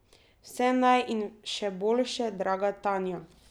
Vse naj in še boljše, draga Tanja!